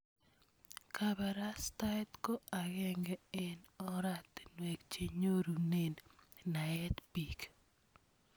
Kaparastaet ko akenge eng' oratinwek che nyorune naet piik.